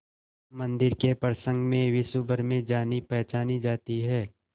मंदिर के प्रसंग में विश्वभर में जानीपहचानी जाती है